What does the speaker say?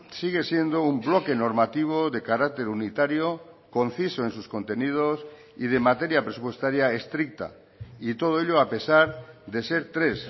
sigue siendo un bloque normativo de carácter unitario conciso en sus contenidos y de materia presupuestaria estricta y todo ello a pesar de ser tres